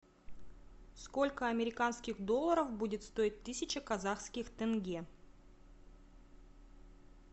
сколько американских долларов будет стоить тысяча казахских тенге